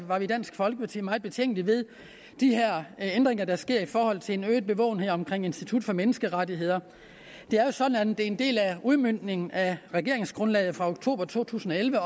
var vi i dansk folkeparti meget betænkelige ved de her ændringer der sker i forhold til en øget bevågenhed omkring institut for menneskerettigheder det er jo sådan at det er en del af udmøntningen af regeringsgrundlaget fra oktober to tusind og elleve